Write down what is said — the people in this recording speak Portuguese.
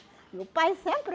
E o pai sempre...